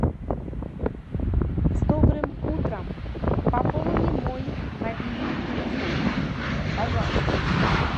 с добрым утром пополни мой мобильный телефон пожалуйста